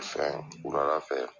Fɛ wulada fɛ